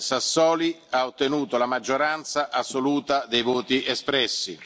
Sassoli ha ottenuto la maggioranza assoluta dei voti espressi.